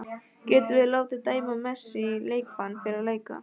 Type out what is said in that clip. Getum við látið dæma Messi í leikbann fyrir að leika?